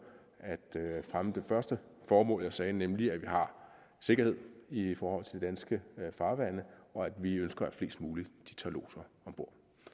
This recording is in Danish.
at fremme det første formål jeg sagde nemlig at vi har sikkerhed i forhold til de danske farvande og at vi ønsker at flest muligt tager lodser om bord